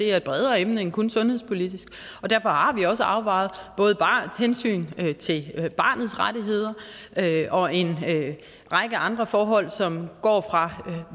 er et bredere emne end kun sundhedspolitisk og derfor har vi også afvejet både hensynet til barnets rettigheder og en række andre forhold som går fra